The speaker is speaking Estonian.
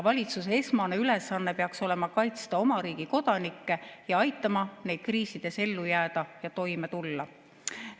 Valitsuse esmane ülesanne peaks olema kaitsta oma riigi kodanikke ning aidata neil kriisides ellu jääda ja toime tulla.